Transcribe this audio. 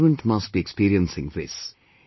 Every parent must be experiencing this